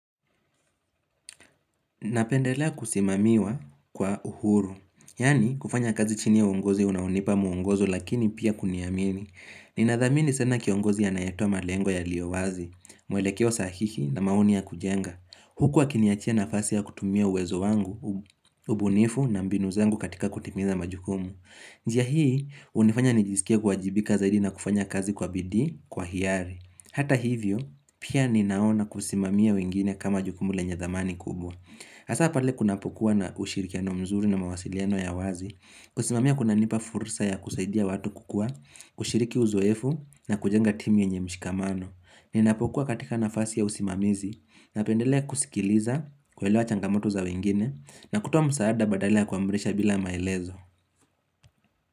Napendelea kusimamiwa kwa uhuru, yaani kufanya kazi chini ya uongozi unaonipa muongozo lakini pia kuniamini. Ninadhamini sana kiongozi anayetoa malengo yaliyo wazi, mwelekeo sahihi na maoni ya kujenga. Huku akiniachia nafasi ya kutumia uwezo wangu, ubunifu na mbinu zangu katika kutimiza majukumu. Njia hii, hunifanya nijisikie kuwajibika zaidi na kufanya kazi kwa bidii, kwa hiari. Hata hivyo, pia ninaona kusimamia wengine kama jukumu lenye dhamani kubwa. Hasa pale kunapokuwa na ushirikiano mzuri na mawasiliano ya wazi, kusimamia kunanipa fursa ya kusaidia watu kukua, kushiriki uzoefu na kujenga timu yenye mshikamano. Ninapokuwa katika nafasi ya usimamizi, napendelea kusikiliza, kuelewa changamoto za wengine, na kutoa msaada badala ya kuamrisha bila maelezo.